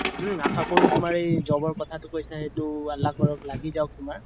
উম আশা কৰো তুমাৰ এই job ৰ কথাটো কৈছা এইটো আল্লাহ কৰক লাগি যাওক তুমাৰ